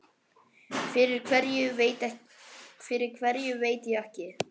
Fyrir hverju veit ég ekki.